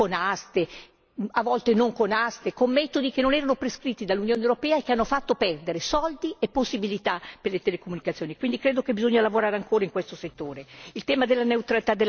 delle frequenze, con aste, a volte non con aste, con metodi che non erano prescritti dall'Unione europea e che hanno fatto perdere denaro e possibilità per le telecomunicazioni. Ritengo quindi che bisogna lavorare ancora in questo settore.